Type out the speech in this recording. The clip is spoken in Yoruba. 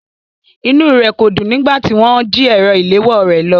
Inúu rẹ̀ kò dùn nígbà tí wọ́n jí ẹ̀rọ ìléwọ́o rè lọ.